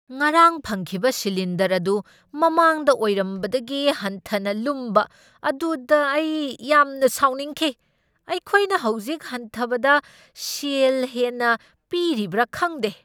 ꯉꯔꯥꯡ ꯐꯪꯈꯤꯕ ꯁꯤꯂꯤꯟꯗꯔ ꯑꯗꯨ ꯃꯃꯥꯡꯗ ꯑꯣꯏꯔꯝꯕꯗꯒꯤ ꯍꯟꯊꯅ ꯂꯨꯝꯕ ꯑꯗꯨꯗ ꯑꯩ ꯌꯥꯝꯅ ꯁꯥꯎꯅꯤꯡꯈꯤ꯫ ꯑꯩꯈꯣꯏꯅ ꯍꯧꯖꯤꯛ ꯍꯟꯊꯕꯗ ꯁꯦꯜ ꯍꯦꯟꯅ ꯄꯤꯔꯤꯕ꯭ꯔꯥ ꯈꯪꯗꯦ꯫